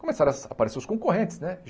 Começaram a aparecer os concorrentes, né?